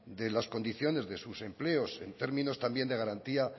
de las condiciones de sus empleos en términos también de garantía